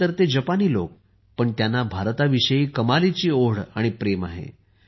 आहेत तर ते जपानी लोक पण त्यांना भारताविषयी कमालीची ओढ आणि प्रेम आहे